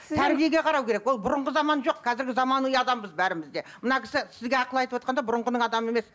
тәрбиеге қарау керек ол бұрынғы заман жоқ қазіргі заманның адамымыз бәріміз де мына кісі сізге ақыл айтып отырғанда да бұрынғының адамы емес